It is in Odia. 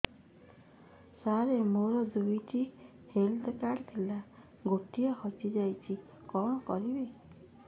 ସାର ମୋର ଦୁଇ ଟି ହେଲ୍ଥ କାର୍ଡ ଥିଲା ଗୋଟେ ହଜିଯାଇଛି କଣ କରିବି